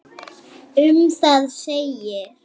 Um það segir: